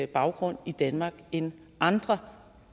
baggrund i danmark end andre